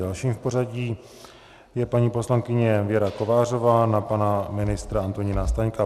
Dalším v pořadí je paní poslankyně Věra Kovářová na pana ministra Antonína Staňka.